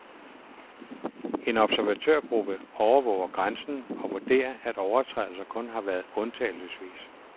En observatørgruppe overvåger grænsen og vurderer, at overtrædelser kun har været undtagelsesvis.